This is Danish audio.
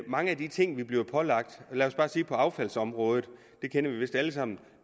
mange af de ting vi bliver pålagt lad os bare sige på affaldsområdet det kender vi vist alle sammen